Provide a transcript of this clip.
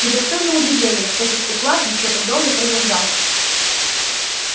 и достойно удивления что этот уклад ещё так долго продержался